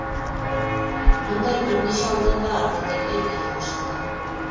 мұндай бірнеше ауданда ардагерлер үйі ашылған